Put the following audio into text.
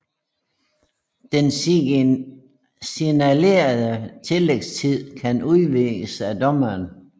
Den signalerede tillægstid kan udvides af dommeren